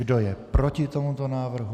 Kdo je proti tomuto návrhu?